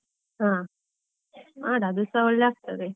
ಹಾ ಮಾಡು ಅದು ಸಾ ಒಳ್ಳೆ ಆಗ್ತದೆ.